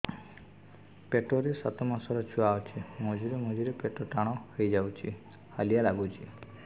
ପେଟ ରେ ସାତମାସର ଛୁଆ ଅଛି ମଝିରେ ମଝିରେ ପେଟ ଟାଣ ହେଇଯାଉଚି ହାଲିଆ ଲାଗୁଚି